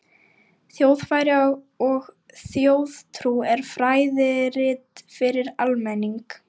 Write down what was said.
ÞJÓÐFRÆÐI OG ÞJÓÐTRÚ er fræðirit fyrir almenning.